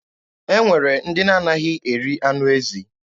E nwere ndị na-anaghị eri anụ ezi.